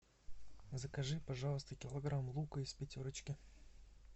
закажи пожалуйста килограмм лука из пятерочки